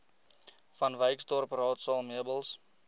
vanwyksdorp raadsaal meubels